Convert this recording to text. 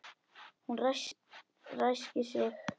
Hún ræskir sig.